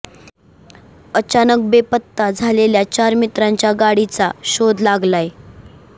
अचानक बेपत्ता झालेल्या चार मित्रांच्या गाडीचा शोध लागलाय